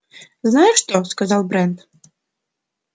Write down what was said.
знаешь что сказал брент